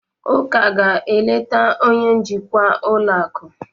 Uka ga-eleta onye njikwa ụlọ akụ.